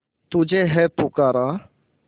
तुझे है पुकारा